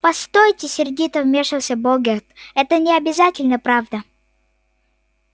постойте сердито вмешался богерт это не обязательно правда